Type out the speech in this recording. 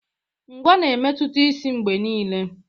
Ngwá ga-emetụta isi mgbe niile.